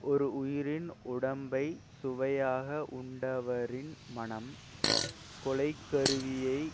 ஓரு உயிரின் உடம்பை சுவையாக உண்டவரின் மனம் கொலைக்கருவியைக்